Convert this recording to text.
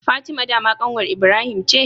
Fatima dama kanwar Ibrahim ce?